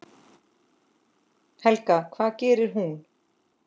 Helga: Hvað gerir hún?